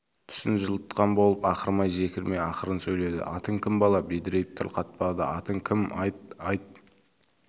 түсін жылытқан болып ақырмай-жекірмей ақырын сөйледі атың кім бала бедірейіп тіл қатпады атың кім айт айт